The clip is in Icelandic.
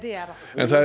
en